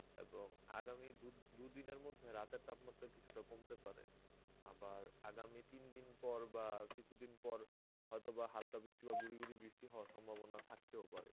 এবং আগামী দু দু দিনের মধ্যে রাতের তাপমাত্রা কিছুটা কমতে পারে. আবার আগামী তিনদিন পর বাহঃ কিছুদিন পর হয়তো বাহঃ হালকা বৃষ্টি বাহঃ গুরি গুরি বৃষ্টি হওয়ার সম্ভাবনা থাকতেও পারে.